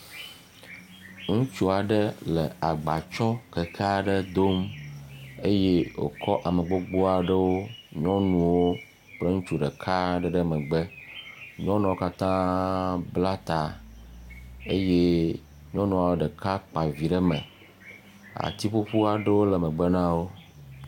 Ŋutsu aɖe le agba tsɔm keke aɖe dom eye wòkɔ ame gbogbo aɖewo nyɔnuwo kple ŋutsu ɖeka aɖe ɖe megbe. Nyɔnuwo katãa bla taa eye nyɔnua ɖeka kpa vi ɖe mɛ. Ati ƒuƒu aɖewo le megbe na wo